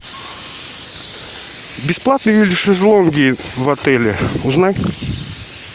бесплатные ли шезлонги в отеле узнай